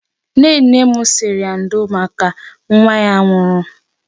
Nnenne m sịrị ya ndo maka nwa ya nwụrụ.